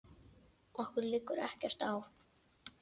Okkur liggur ekkert á